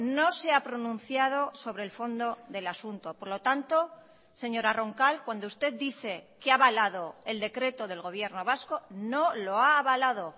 no se ha pronunciado sobre el fondo del asunto por lo tanto señora roncal cuando usted dice que ha avalado el decreto del gobierno vasco no lo ha avalado